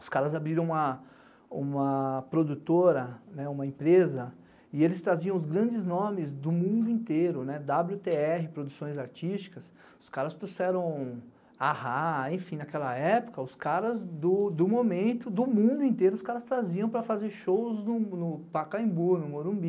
Os caras abriram uma produtora, uma empresa, e eles traziam os grandes nomes do mundo inteiro, dábliotêerre, Produções Artísticas, os caras trouxeram a Rá, enfim, naquela época, os caras do momento, do mundo inteiro, os caras traziam para fazer shows no Pacaembu, no Morumbi.